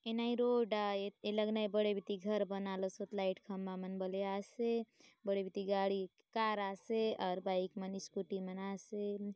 ए नये रोड आय ए लग नय बड़े बीती घर बनाय लसोत लाइट खम्बा मन बले आसे बड़े बीती गाड़ी कार आसे और बाइक मन स्कूटी मन आसे।